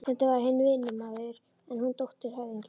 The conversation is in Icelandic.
Stundum var hann vinnumaður en hún dóttir höfðingjans.